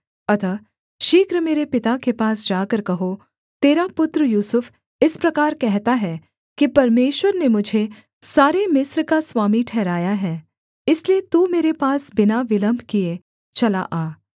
अतः शीघ्र मेरे पिता के पास जाकर कहो तेरा पुत्र यूसुफ इस प्रकार कहता है कि परमेश्वर ने मुझे सारे मिस्र का स्वामी ठहराया है इसलिए तू मेरे पास बिना विलम्ब किए चला आ